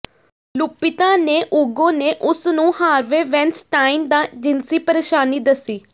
Lupita Nyong'o ਨੇ ਉਸ ਨੂੰ ਹਾਰਵੇ ਵੈਨਸਟਾਈਨ ਦਾ ਜਿਨਸੀ ਪਰੇਸ਼ਾਨੀ ਦੱਸੀ